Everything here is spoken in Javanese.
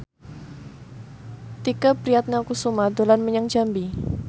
Tike Priatnakusuma dolan menyang Jambi